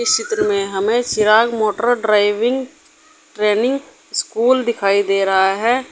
इस चित्र में हमें Chirag motor driving training school दिखाई दे रहा हैं।